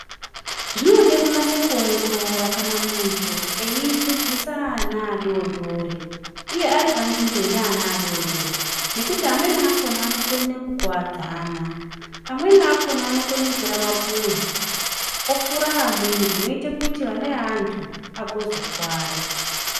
Zvinode kunase kuongorora kana muntu eidzidzisa ana adodori uye ari panzvimbo ine ana adodori nekuti amweni akhona anokone kukuwadzana amweni akhona anokone kutore mapuwe ofure amweni zvinoite kuti ana eantu agozokuware.